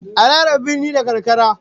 A raya birni da karkara